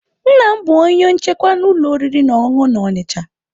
Nna m bụ onye nchekwa na ụlọ oriri na ọṅụṅụ na Onitsha.